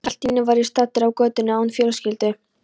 Allt í einu var ég staddur á götunni án fjölskyldu.